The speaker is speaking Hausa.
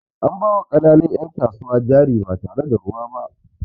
An ba ma ƙananun 'yan kasuwa jari ba tare da ruwa ba.